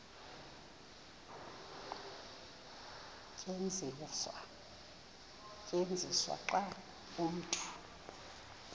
tyenziswa xa umntu